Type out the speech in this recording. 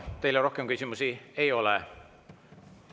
Teile rohkem küsimusi ei ole.